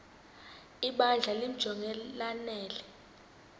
ibandla limjonge lanele